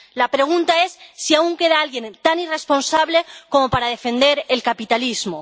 La pregunta es si aún queda alguien tan irresponsable como para defender el capitalismo.